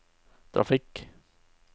trafikk